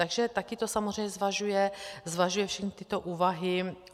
Takže taky to samozřejmě zvažuje všechny tyto úvahy.